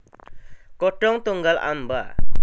Godhong tunggal amba